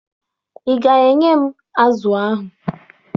Ị ga-enye m azụ ahụ?